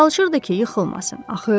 Çalışırdı ki, yıxılmasın.